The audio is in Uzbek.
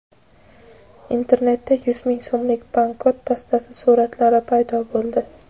Internetda yuz ming so‘mlik banknot dastasi suratlari paydo bo‘ldi.